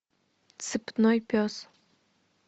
цепной пес